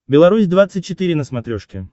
беларусь двадцать четыре на смотрешке